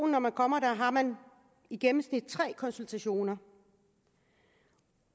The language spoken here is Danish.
når man kommer der har man i gennemsnit tre konsultationer